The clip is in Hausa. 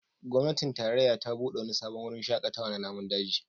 Gwamnatin tarayya ta bude wani sabon wurin shakatawa na namun daji